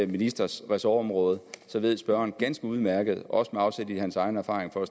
ministers ressortområde så ved spørgeren ganske udmærket også med afsæt i hans egen erfaringer